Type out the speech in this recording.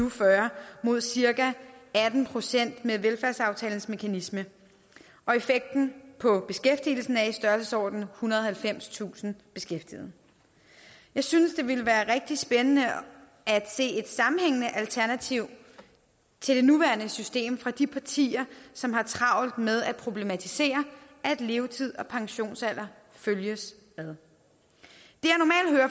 og fyrre mod cirka atten procent med velfærdsaftalens mekanisme og effekten på beskæftigelsen er i størrelsesordenen ethundrede og halvfemstusind beskæftigede jeg synes det ville være rigtig spændende at se et sammenhængende alternativ til det nuværende system fra de partier som har travlt med at problematisere at levetid og pensionsalder følges ad